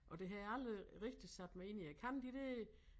Og det havde jeg aldrig rigtig sat mig ind i jeg kan de der